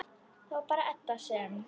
Það var bara Edda sem.